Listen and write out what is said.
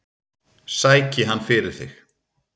Sæki hann fyrir þig.